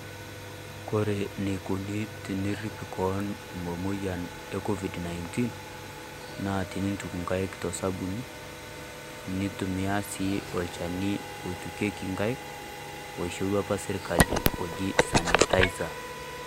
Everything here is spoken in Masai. Kore neikoni tenerip koon momoyian e COVID-19 naa tiniituk nkaiki to sabuni niitumia si olchani o tukeki nkaiki o shorua apa sirkali oji sanitizer.